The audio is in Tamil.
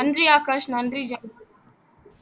நன்றி ஆகாஷ் நன்றி ஜெ